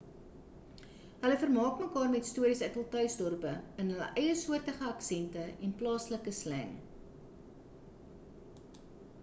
hulle vermaak mekaar met stories uit hul tuisdorpe in hul eiesoortige aksente en plaaslike sleng